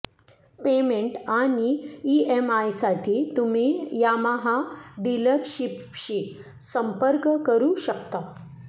payment आणि ईएमआयसाठी तुम्ही यामाहा डिलरशीपशी संपर्क करू शकता